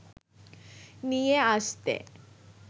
নিয়া আসতে